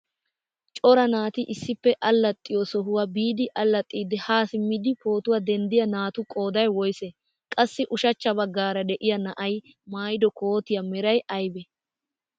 Cora naati issippe allaxiyoo sohuwaa biidi allaxxiidi haa simmidi pootuwaa denddiyaa naatu qooday woysee? qassi ushshachcha baggaara de'iyaa na'ay maayido kootiyaa meray aybee?